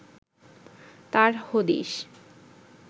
তার হদিস